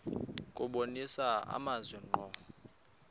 kubonisa amazwi ngqo